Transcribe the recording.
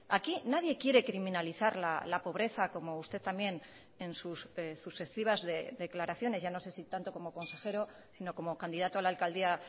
aquí nadie quiere criminalizar la pobreza como usted también en sus sucesivas declaraciones ya no sé si tanto como consejero sino como candidato a la alcaldía